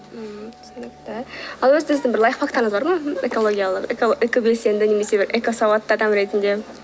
ммм түсінікті ал өзіңіздің бір лайфхактарыңыз бар ма экологиялық экобелсенді немесе бір экосауатты адам ретінде